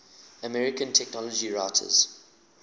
american technology writers